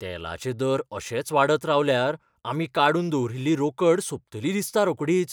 तेलाचे दर अशेच वाडत रावल्यार आमी काडून दवरिल्ली रोकड सोंपतली दिसता रोकडीच.